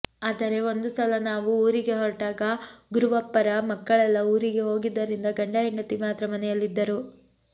ಆದರೆ ಒಂದು ಸಲ ನಾವು ಊರಿಗೆ ಹೊರಟಾಗ ಗುರುವಪ್ಪರ ಮಕ್ಕಳೆಲ್ಲ ಊರಿಗೆ ಹೋಗಿದ್ದರಿಂದ ಗಂಡ ಹೆಂಡತಿ ಮಾತ್ರ ಮನೆಯಲ್ಲಿದ್ದರು